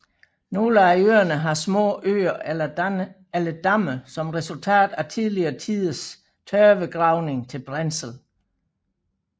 Nogle af øerne har små søer eller damme som resultat af tidligere tiders tørvegravning til brændsel